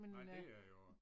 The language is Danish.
Nej det er jo